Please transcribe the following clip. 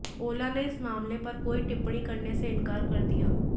ओला ने इस मामले पर कोई टिप्पणी करने से इनकार कर दिया